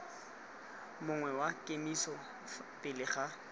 mongwe wa kemiso pele ga